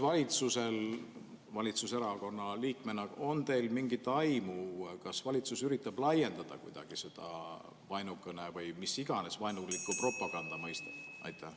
Kas teil valitsuserakonna liikmena on mingit aimu, kas valitsus üritab laiendada kuidagi seda vaenukõne või mis iganes vaenuliku propaganda mõistet?